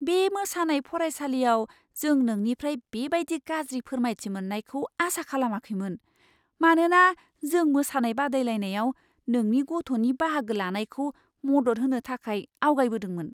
बे मोसानाय फरायसालियाव, जों नोंनिफ्राइ बेबायदि गाज्रि फोरमायथि मोन्नायखौ आसा खालामाखैमोन, मानोना जों मोसानाय बादायलायनायाव नोंनि गथ'नि बाहागो लानायखौ मदद होनो थाखाय आवगायबोदोंमोन।